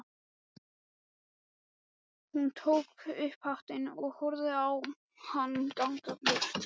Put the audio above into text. Hún tók upp hattinn og horfði á hann ganga burt.